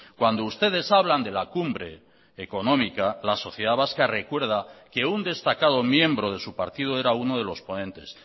cuando ustedes hablan de la cumbre económica la sociedad vasca recuerda que un destacado miembro de su partido era uno de los ponentes